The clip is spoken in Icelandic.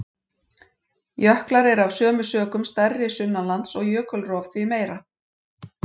Jöklar eru af sömu sökum stærri sunnanlands og jökulrof því meira.